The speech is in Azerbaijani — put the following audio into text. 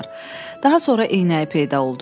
Daha sonra eynəyi peyda oldu.